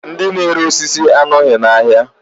Ndi n'ere osisi anọghị n'ahịa